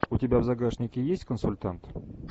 у тебя в загашнике есть консультант